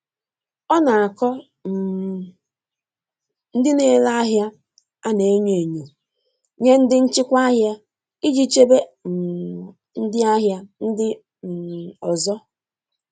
Ọ na-akọ um ndị na-ere ahịa ana-enyo enyo nye ndị nchịkwa ahịa iji chebe um ndị ahịa ndị um ọzọ.